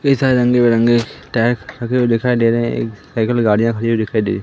कई सारे रंग बिरंगे टैग रखे हुए दिखाई दे रहे हैं एक साइकिल गाड़ियां खड़ी हुई दिखाई दे रही--